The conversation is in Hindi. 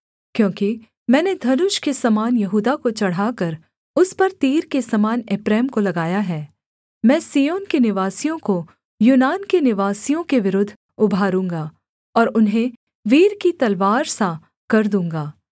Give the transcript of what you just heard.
क्योंकि मैंने धनुष के समान यहूदा को चढ़ाकर उस पर तीर के समान एप्रैम को लगाया है मैं सिय्योन के निवासियों को यूनान के निवासियों के विरुद्ध उभारूँगा और उन्हें वीर की तलवार सा कर दूँगा